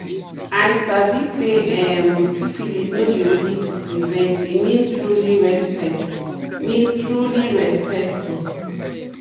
i sabi say um syphilis no be only to prevent e mean truely respect mean truely respect too